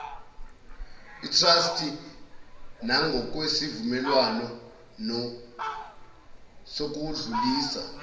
itrasti nangokwesivumelwano sokudlulisa